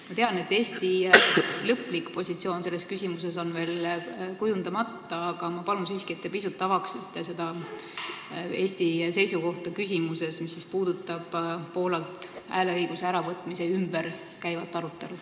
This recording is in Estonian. Ma tean, et Eesti lõplik positsioon selles küsimuses on veel kujundamata, aga ma palun siiski, et te pisut avaksite Eesti seisukohta küsimuses, mis puudutab Poolalt hääleõiguse äravõtmise ümber käivat arutelu.